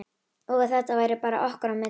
Og að þetta væri bara okkar á milli.